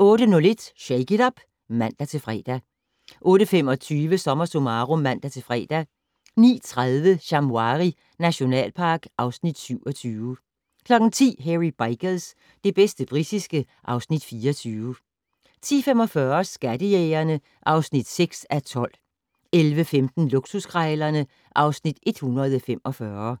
08:01: Shake it up! (man-fre) 08:25: SommerSummarum (man-fre) 09:30: Shamwari nationalpark (Afs. 27) 10:00: Hairy Bikers - det bedste britiske (Afs. 24) 10:45: Skattejægerne (6:12) 11:15: Luksuskrejlerne (Afs. 145)